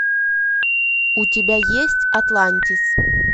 у тебя есть атлантис